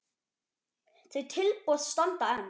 Þau tilboð standa enn.